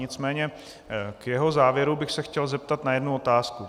Nicméně k jeho závěru bych se chtěl zeptat na jednu otázku.